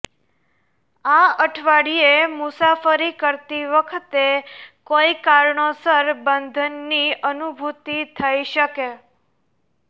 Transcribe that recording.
આ અઠવાડિયે મુસાફરી કરતી વખતે કોઈ કારણોસર બંધંનની અનુભૂતિ થઈ શકે